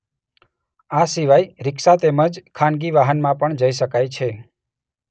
આ સિવાય રિક્ષા તેમજ ખાનગી વાહનમાં પણ જઈ શકાય છે.